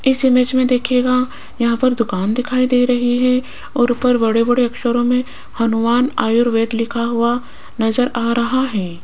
इस इमेज में देखिएगा यहां पर दुकान दिखाई दे रही है और ऊपर बड़े बड़े अक्षरों में हनुमान आयुर्वेद लिखा हुआ नजर आ रहा है।